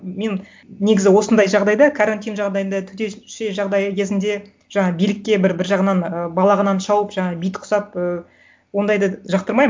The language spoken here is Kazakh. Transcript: мен негізі осындай жағдайда карантин жағдайында төтенше жағдай кезінде жаңа билікке бір бір жағынан ы балағынан шауып жаңа бит ұқсап ы ондайды жақтырмаймын